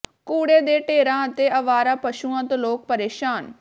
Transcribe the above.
ਕੂੜੇ ਦੇ ਢੇਰਾਂ ਅਤੇ ਆਵਾਰਾ ਪਸ਼ੂਆਂ ਤੋਂ ਲੋਕ ਪ੍ਰੇਸ਼ਾਨ